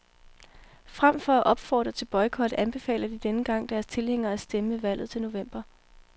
Frem for at opfordre til boykot anbefaler de denne gang deres tilhængere at stemme ved valget til november.